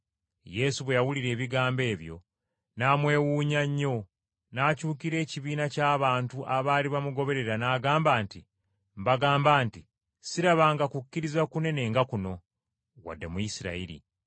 Yesu bwe yawulira ebigambo ebyo n’amwewuunya nnyo, n’akyukira ekibiina ky’abantu abaali bamugoberera n’agamba nti, “Mbagamba nti sirabanga kukkiriza kunene nga kuno, wadde mu Isirayiri.”